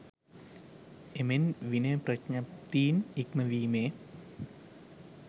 එමෙන් විනය ප්‍රඥප්තින් ඉක්ම වීමේ